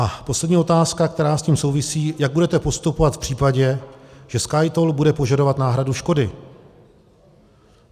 A poslední otázka, která s tím souvisí: Jak budete postupovat v případě, že SkyToll bude požadovat náhradu škody?